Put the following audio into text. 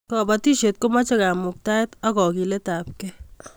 kabatishiet komache kamuktaet ak kagilet ab kei